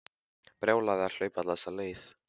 Brjálæði að hlaupa alla þessa leið.